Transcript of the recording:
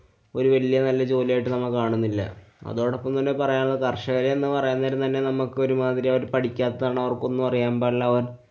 ഒരു വല്യേ നല്ല ജോലിയായിട്ട് നമ്മ കാണുനില്ല. അതോടൊപ്പം തന്നെ പറയാനുള്ളത് കര്‍ഷകര്‍ എന്ന് പറയാന്‍ നേരം തന്നെ നമ്മക്ക് ഒരുമാതിരി അവര്‍ പഠിക്ക്യത്താണ്. അവര്‍ക്കൊന്നും അറിയാന്‍ പാടില്ല. അവന്‍